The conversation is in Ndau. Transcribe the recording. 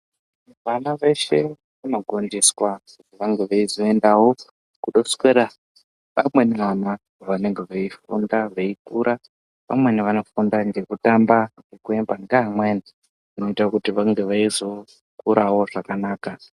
Vana veshe vanogondiswa kuti vange veizoendawo kundoswera nevamweni vana vanenge veifunda veikura. Vamweni vanofunda ngekutamba, nekuemba neamweni kuitire kuti vange veizokurawo zvakanaka.